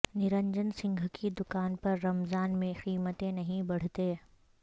نرنجن سنگھ کی دکان پر رمضان میں قیمتیں نہیں بڑھتیں